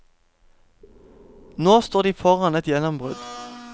Nå står de foran et gjennombrudd.